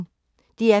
DR P1